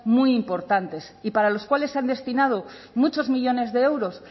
muy importantes y para los cuales se han destinado muchos millónes de euros